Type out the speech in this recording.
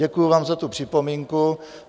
Děkuji vám za tu připomínku.